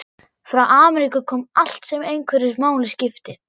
Frá Ameríku kom allt sem einhverju máli skipti.